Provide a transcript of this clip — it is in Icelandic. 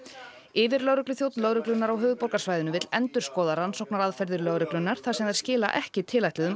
yfirlögregluþjónn lögreglunnar á höfuðborgarsvæðinu vill endurskoða rannsóknaraðferðir lögreglunnar þar sem þær skila ekki tilætluðum